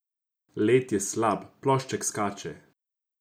Led je slab, plošček skače.